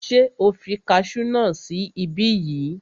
Ṣé o fi kasú náà sí ibí yìí?